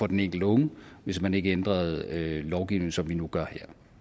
den enkelte unge hvis man ikke ændrede lovgivningen sådan som vi nu gør